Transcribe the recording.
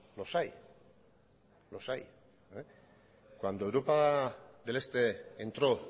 los hay los hay cuando europa del este entro